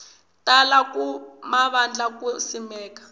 tala ka mavandla ku simeka